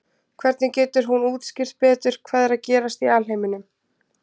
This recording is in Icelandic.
Hvernig getur hún útskýrt betur hvað er að gerast í alheiminum?